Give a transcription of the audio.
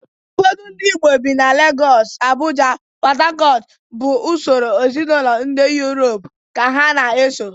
Ụfọdụ ndị Igbo bi na Legọs, Abụja, PọtHakọt bụ usoro ezinaụlọ ndị Yurop ka ha na-eso